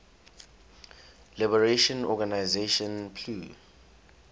liberation organization plo